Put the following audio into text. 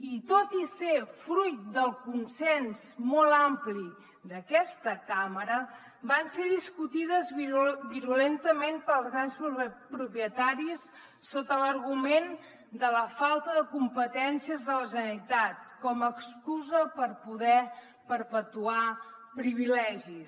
i tot i ser fruit del consens molt ampli d’aquesta cambra van ser discutides virulentament pels grans propietaris sota l’argument de la falta de competències de la generalitat com a excusa per poder perpetuar privilegis